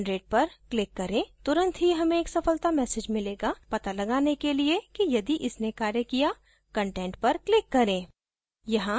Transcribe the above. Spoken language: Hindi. generate पर click करें तुरंत ही हमें एक सफलता message मिलता है to लगाने के लिए कि यदि इसने कार्य किया content पर click करें